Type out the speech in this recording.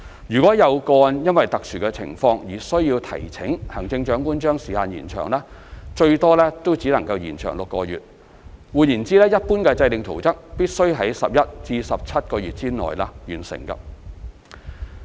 如果有個案因其特殊情況而須提請行政長官將時限延長，最多也只能延長6個月，換言之，一般制訂圖則必須在11至17個月內完成。